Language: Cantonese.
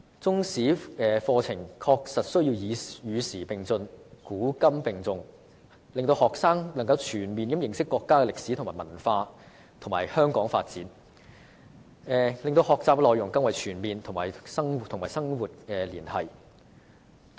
中史課程確實需要與時並進，"古今並重"，讓學生全面認識國家的歷史和文化，以及香港的發展，使學習內容更為全面及與生活連繫。